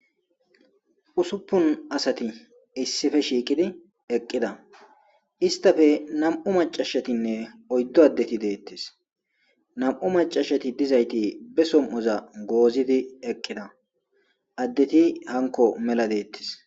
usuppun asati issippe shiiqqidi eqqida istappe nam7u macashatinne oyddu addetti deettes nam7u macashati dizayti be som7oza goozidi eqqida addeti hanko mela deettes